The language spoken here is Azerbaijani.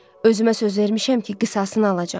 Özümə söz vermişəm ki, qisasını alacam.